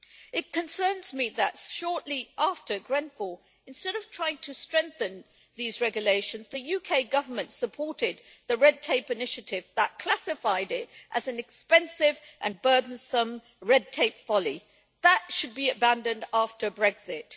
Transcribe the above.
It concerns me that shortly after Grenfell, instead of trying to strengthen these regulations, the UK Government supported the Red Tape Initiative' that classified it as an expensive and burdensome' red tape folly' that should be abandoned after Brexit.